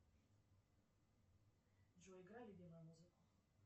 джой играй любимую музыку